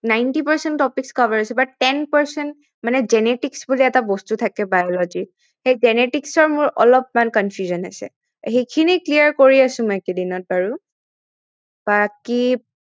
ninety percent topics cover হৈছে but ten percent মানে genetics বুলি এটা বস্তু থাকে biology ত সেই genetics ৰ মোৰ অলপমান confusion আছে সেইখিনি clear কৰি আছো মই এইকেইদিনত বাৰু